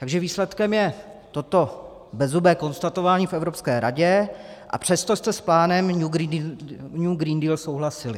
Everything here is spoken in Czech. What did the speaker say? Takže výsledkem je toto bezzubé konstatování v Evropské radě, a přesto jste s plánem New Green Deal souhlasili.